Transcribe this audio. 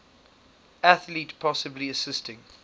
athlete possibly assisting